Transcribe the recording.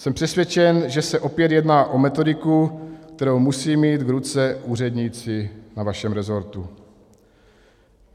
Jsem přesvědčen, že se opět jedná o metodiku, kterou musí mít v ruce úředníci na vašem resortu.